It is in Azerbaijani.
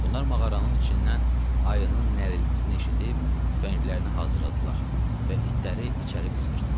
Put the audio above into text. Bunlar mağaranın içindən ayının nərəltisini eşidib tüfənglərini hazırladılar və itləri içəri qışqırtdılar.